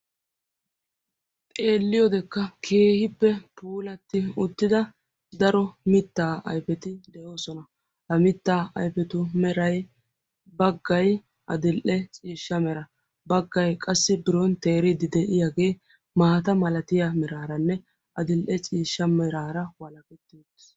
Xeelliyodekka keehippe puulatidda Mitta ayfetti doosonna. Ha mitta ayfettu meray bagay adl'ee ciishsha bagay biron teeriddi de'iyaage qawuqqe.